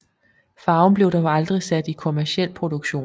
Farven blev dog aldrig sat i kommerciel produktion